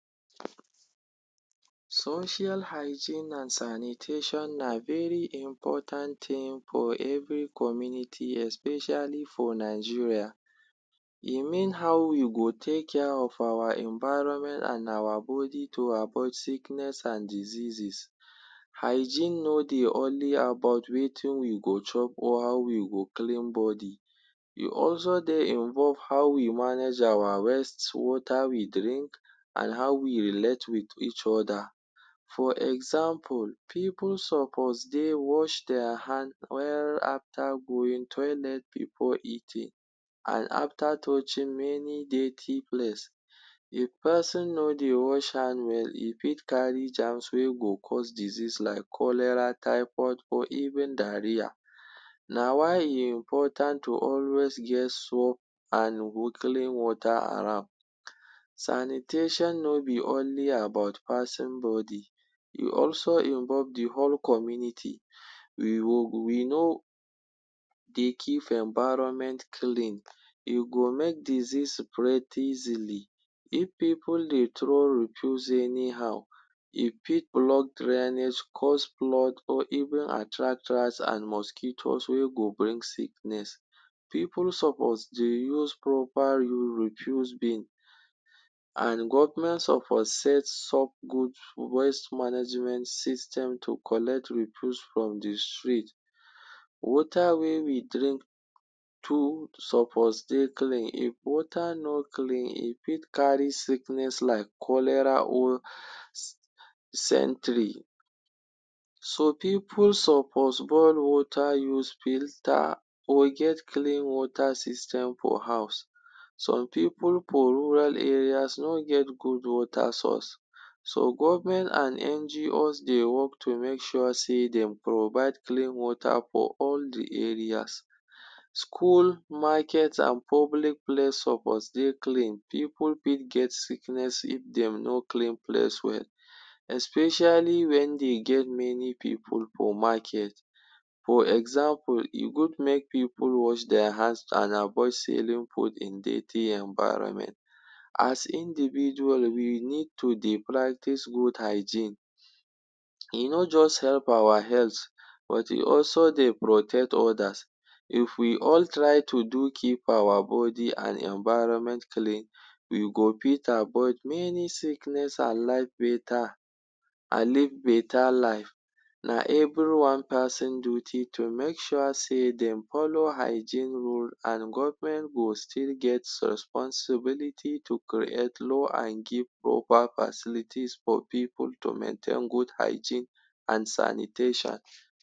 Social hygiene an sanitation na very important tin for every community especially for Nigeria. E mean how we go take care of our environment and our body to avoid sickness an diseases. Hygiene no dey only about wetin we go chop or how we go clean body. E also dey involve how we manage our waste, water we drink, and how we relate with each other. For example, pipu suppose dey wash dia hand well after going toilet before eating, an after touching many dirty place. If peson no dey wash hand well, e fit carry germs wey go cause disease like cholera, typhoid, or even diarrhea. Na why e important to always get soap an clean water around. Sanitation no be only about peson body, e also involve the whole community. We no dey keep environment clean, e go make disease spread easily. If pipu dey throw refuse anyhow, e fit block drainage, cause flood or even attract rats an mosquitoes wey go bring sickness. Pipu suppose dey use proper refuse bin, an government suppose sets up good waste management system to collect refuse from the street. Water wey we drink too suppose dey clean. If water no clean, e fit carry sickness like cholera or. So pipu suppose boil water, use filter, or get clean water system for house. Some pipu for rural areas no get good water source. So government and NGOs dey work to make sure sey dem provide clean water for all the areas. School, market, an public place suppose dey clean. Pipu fit get sickness if dem no clean place well, especially wen dey get many pipu for market. For example, e good make pipu wash dia hands an avoid selling food in dirty environment. As individual, we need to dey practise good hygiene. E no juz help our health, but e also dey protect others. If we all try to do keep our body an environment clean, we go fit avoid many sickness an life beta, an live beta life. Na everyone peson duty to make sure sey dem follow hygiene rule, an government go still get responsibility to create law an give proper facilities for pipu to maintain good hygiene an sanitation.